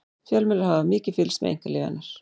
fjölmiðlar hafa mikið fylgst með einkalífi hennar